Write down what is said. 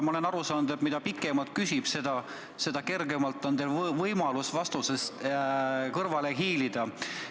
Ma olen aru saanud, et mida pikemalt küsitakse, seda kergemalt on teil võimalus vastusest kõrvale hiilida.